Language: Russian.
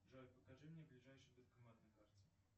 джой покажи мне ближайший банкомат на карте